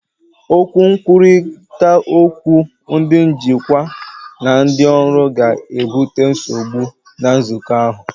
Okwu nkwurịta okwu ndị njikwa na ndị ọrụ ga-ebute nsogbu na nzukọ ahụ.